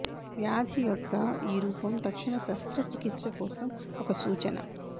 వ్యాధి యొక్క ఈ రూపం తక్షణ శస్త్రచికిత్స కోసం ఒక సూచన